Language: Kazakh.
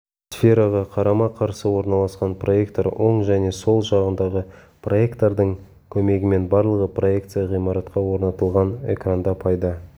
сфераға қарама-қарсы орналасқан проектор оң және сол жағындағы проектордың көмегімен барлығы проекция ғимаратқа орнатылған экранда пайда